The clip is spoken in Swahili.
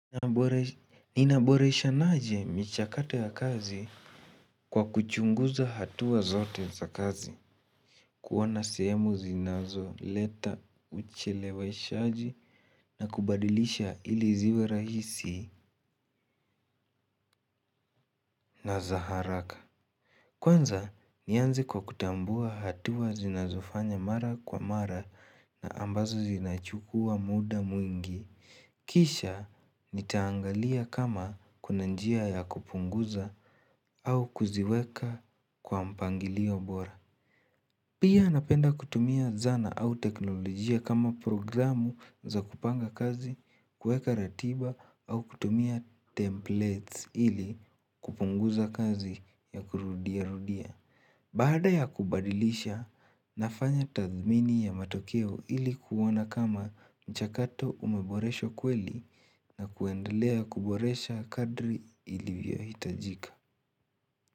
Ninaboreshanaje michakato ya kazi kwa kuchunguza hatua zote za kazi. Kuona sehemu zinazoleta ucheleweshaji na kubadilisha ili ziwe rahisi na za haraka. Kwanza, nianze kwa kutambua hatua zinazofanya mara kwa mara na ambazo zinachukua muda mwingi. Kisha nitaangalia kama kuna njia ya kupunguza au kuziweka kwa mpangilio bora. Pia napenda kutumia zana au teknolojia kama programu za kupanga kazi, kueka ratiba au kutumia templates ili kupunguza kazi ya kurudia rudia. Baada ya kubadilisha, nafanya tathmini ya matokeo ili kuona kama mchakato umeboreshwa kweli na kuendelea kuboresha kadri ilivyo hitajika.